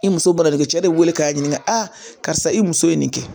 I muso bana de cɛ de weele k'a ɲininka a karisa i muso ye nin kɛ